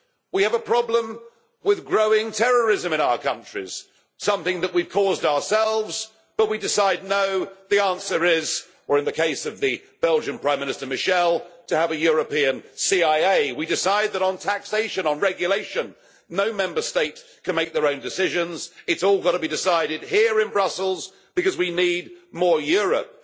We have a problem with growing terrorism in our countries, something that we have caused ourselves but we decide, no, the answer is, or in the case of the Belgian Prime Minister Michel, to have a European CIA. We decided that on taxation, on regulation, no Member State can make their own decisions, it has all got to be decided here in Brussels, because we need more Europe.